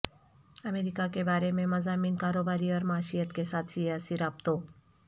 امریکہ کے بارے میں مضامین کاروباری اور معیشت کے ساتھ سیاسی رابطوں